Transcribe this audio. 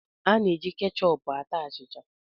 E ji kechọp ata achịcha